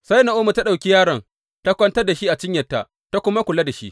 Sai Na’omi ta ɗauki yaron, ta kwantar da shi a cinyarta ta kuma kula da shi.